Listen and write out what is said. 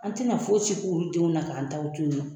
An ti na fosi k'olu denw na ka an taw to yen nɔ.